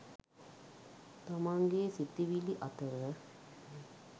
තමන්ගේ සිතිවිලි අතර